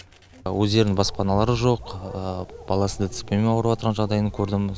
өздерінің баспаналары жоқ баласының дцп мен ауырыватырған жағдайын көрдім